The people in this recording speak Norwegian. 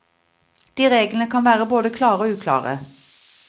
De reglene kan være både klare og uklare.